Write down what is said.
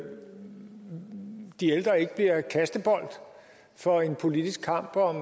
de ældre ikke bliver kastebold for en politisk kamp om